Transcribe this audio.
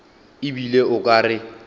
e bile o ka re